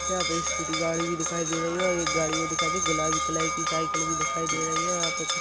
यहाँ पे स्कूटी गाड़ी भी दिखाई दे रही है और एक गाड़ी भी दिखाई दी गुलाबी कलर की साइकिल भी दिखाई दे रही है और यहाँ पर--